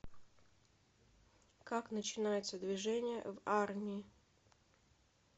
как начинается движение в армии